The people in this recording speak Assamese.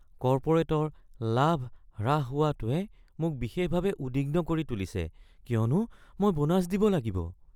কৰ্পৰেটৰ লাভ হ্ৰাস হোৱাটোৱে মোক বিশেষভাৱে উদ্বিগ্ন কৰি তুলিছে কিয়নো মই বোনাছ দিব লাগিব।